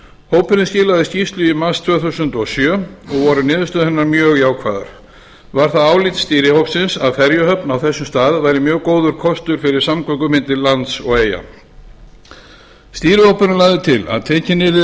hópurinn skilað skýrslu í mars tvö þúsund og sjö og voru niðurstöður hennar mjög jákvæðar var það álit stýrihópsins að ferjuhöfn á þessum stað væri mjög góður kostur fyrir samgöngur milli lands og eyja stýrihópurinn lagði til að tekin yrði